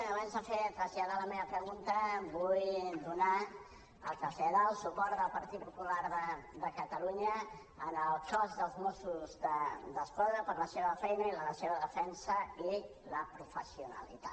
abans de traslladar la meva pregunta vull donar o traslladar el suport del partit popular de catalunya al cos de mossos d’esquadra per la seva feina i la seva defensa i la professionalitat